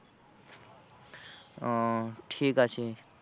ও ঠিক আছে।